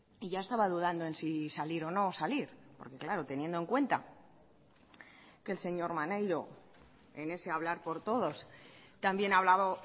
y ya estaba dudando en si salir o no salir porque claro teniendo en cuenta que el señor maneiro en ese hablar por todos también ha hablado